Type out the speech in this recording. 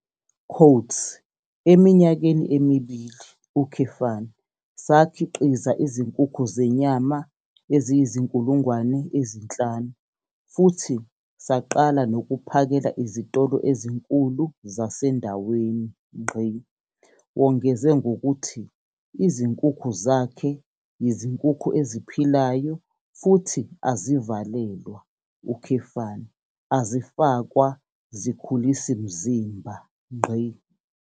"Eminyakeni emibili, sakhiqiza izinkukhu zenyama eziyizi-5 000 futhi saqala nokuphakela izitolo ezinkulu zasendaweni." Wongeze ngokuthi izinkukhu zakhe yizinkukhu eziphilayo futhi azivalelwa, azifakwa zikhulisimzimba.